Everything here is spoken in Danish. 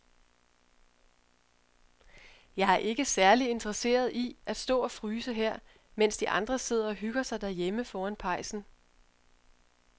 Jeg er ikke særlig interesseret i at stå og fryse her, mens de andre sidder og hygger sig derhjemme foran pejsen.